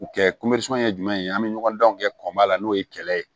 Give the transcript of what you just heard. U kɛ ye jumɛn ye an bɛ ɲɔgɔn danw kɛ kɔnba la n'o ye kɛlɛ ye